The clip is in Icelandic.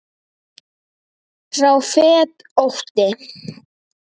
sá fetótti